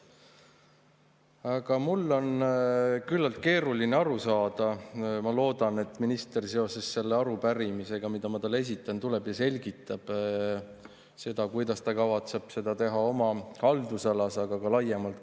Aga mul on küllaltki keeruline aru saada – ma loodan, et minister seoses selle arupärimisega, mida ma talle esitan, tuleb ja selgitab seda –, kuidas ta kavatseb seda teha oma haldusalas, aga ka laiemalt.